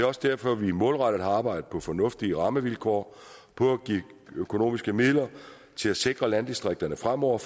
også derfor at vi målrettet har arbejdet på fornuftige rammevilkår og på at give økonomiske midler til at sikre landdistrikterne fremover